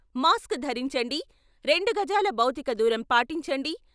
Mask ధరించండి, రెండు గజాల భౌతిక దూరం పాటించండి.